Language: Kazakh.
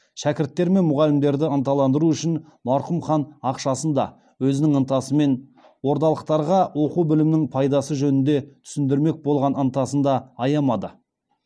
шәкірттер мен мұғалімдерді ынталандыру үшін марқұм хан ақшасын да өзінің ынтасы мен ордалықтарға оқу білімнің пайдасы жөнінде түсіндірмек болған ынтасын да аямады